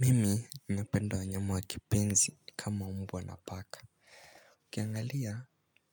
Mimi napenda wanyama wa kipenzi kama mbwa na paka. Ukiangalia